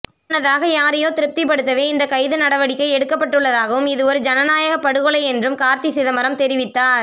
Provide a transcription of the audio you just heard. முன்னதாக யாரையோ திருப்திப்படுத்தவே இந்தக் கைது நடவடிக்கை எடுக்கப்பட்டுள்ளதாகவும் இதுவொரு ஜனநாயக படுகொலை என்றும் கார்த்தி சிதம்பரம் தெரிவித்தார்